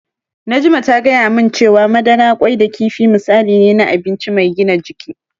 Najma ta gaya min cewa madara, ƙwai da kifi misali ne na abinci mai gina jiki.